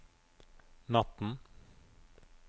natten